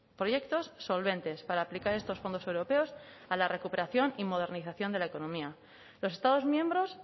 proyectos solventes para aplicar estos fondos europeos a la recuperación y modernización de la economía los estados miembros